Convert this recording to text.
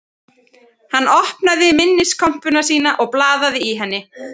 Hann opnaði minniskompuna sína og blaðaði í henni